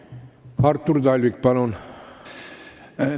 Artur Talvik, palun!